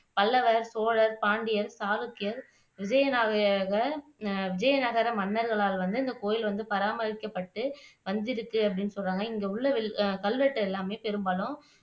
பல்லவர், சோழர், பாண்டியர் சாளுக்கியர் விஜயநகர விஜயநகர மன்னர்களால் வந்து இந்த கோயில் வந்து பராமரிக்கப்பட்டு வந்துருக்கு அப்படின்னு சொல்றாங்க இங்க உள்ள கல்வெட்டு எல்லாமே பெரும்பாலும்